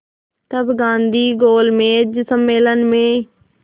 तब गांधी गोलमेज सम्मेलन में